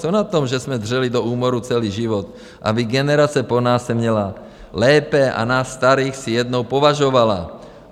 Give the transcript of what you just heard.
Co na tom, že jsme dřeli do úmoru celý život, aby generace po nás se měla lépe a nás starých si jednou považovala?